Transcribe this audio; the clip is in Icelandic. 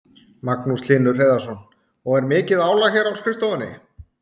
Magnús Hlynur Hreiðarsson: Og er mikið álag hér á skrifstofunni?